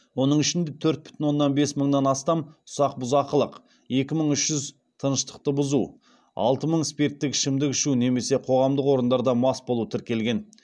оның ішінде төрт бүтін оннан бес мыңнан астам ұсақ бұзақылық екі мың үш жүз тыныштықты бұзу алты мың спирттік ішімдік ішу немесе қоғамдық орындарда мас болу тіркелген